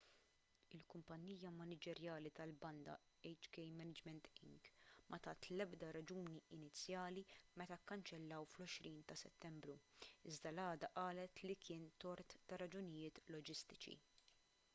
il-kumpanija maniġerjali tal-banda hk management inc ma tat l-ebda raġuni inizjali meta kkanċellaw fl-20 ta' settembru iżda l-għada qalet li kien tort ta' raġunijiet loġistiċi